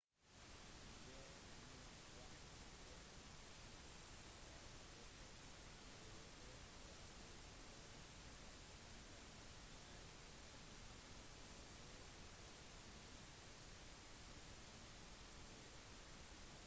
de må vise forsikringsselskapet e-postadresse og internasjonale telefonnummer for råd/godkjenning og fremsetning av krav